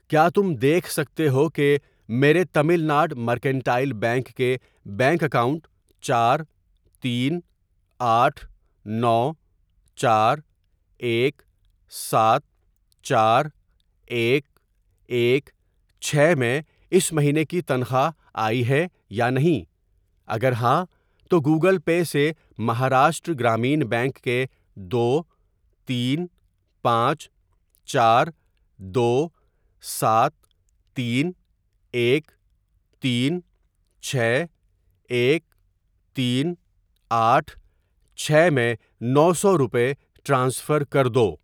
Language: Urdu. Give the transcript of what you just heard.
کیا تم دیکھ سکتے ہو کہ میرے تمل ناڈ مرکنٹائل بینک کے بینک اکاؤنٹ چار تین آٹھ نو چار ایک سات چار ایک ایک چھ میں اس مہینے کی تنخواہ آئی ہے یا نہیں؟ اگر ہاں تو گوگل پے سے مہاراشٹر گرامین بینک کے دو تین پانچ چار دو سات تین ایک تین چھ ایک تین آٹھ چھ میں نو سو روپے ٹرانسفر کر دو۔